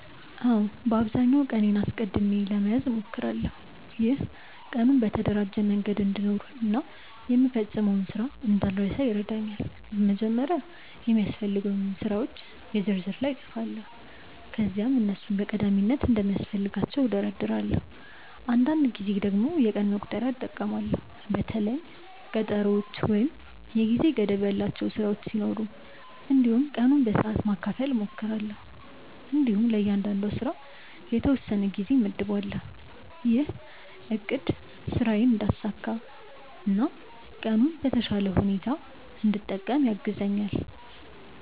አዎ፣ በአብዛኛው ቀኔን አስቀድሜ ለመያዝ እሞክራለሁ። ይህ ቀኑን በተደራጀ መንገድ እንድኖር እና የምፈጽመውን ስራ እንዳልረሳ ይረዳኛል። በመጀመሪያ የሚያስፈልጉኝን ስራዎች የ ዝርዝር ላይ እጻፋለሁ ከዚያም እነሱን በቀዳሚነት እንደሚያስፈልጋቸው እደርዳለሁ። አንዳንድ ጊዜ የቀን መቁጠሪያ እጠቀማለሁ በተለይም ቀጠሮዎች ወይም የጊዜ ገደብ ያላቸው ስራዎች ሲኖሩ። እንዲሁም ቀኑን በሰዓት ማካፈል እሞክራለሁ እንዲሁም ለእያንዳንዱ ስራ የተወሰነ ጊዜ እመድባለሁ። ይህ አቅድ ስራዬን እንዳሳካ እና ቀኑን በተሻለ ሁኔታ እንድጠቀም ያግዛኛል።